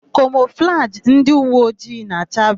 Kamọflajị ndị uweojii na-acha bluu.